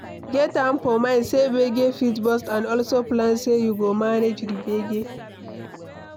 Get am for mind sey gbege fit burst and also plan sey you go manage di gbege